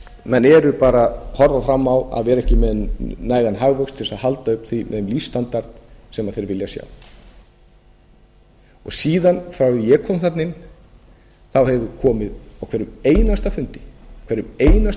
menn eru bara að horfa fram á að vera ekki með nægan hagvöxt til þess að halda uppi þeim lífsstandard sem þeir vilja sjá síðan frá því að ég kom þarna inn hefur komið á hverjum einasta